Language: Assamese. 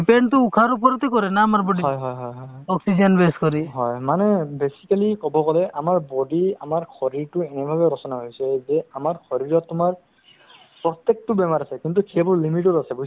পইচাৰ কোনো হেৰি নাই free এতিয়া চোৱা সেইদিনাখন এই ল'ৰা এটাৰ বেমাৰ হৈছে তাৰ minimum ডেৰ লাখ টকা খৰচ হৈছে to অ আয়ুসমান card মোক সেইদিনাখন ফোন কৰিলে যে উম card খন লাগে ইয়াত